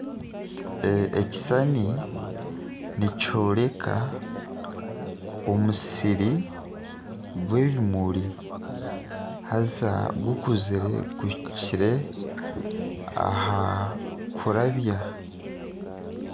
Ekishushani nikyoreka omusiri gw'ebimuri haaza gukuzire gwihikire aha kuryabya.